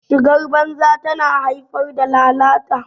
shigar banza tana haifar da lalata